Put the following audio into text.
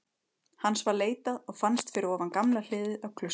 Hans var leitað og fannst fyrir ofan gamla hliðið á klaustrinu.